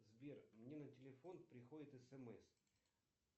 сбер мне на телефон приходит смс